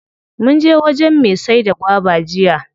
Munje wajen me saida gwaba jiya.